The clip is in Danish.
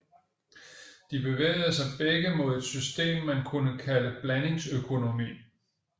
De bevægede sig begge mod et system man kunne kalde blandingsøkonomi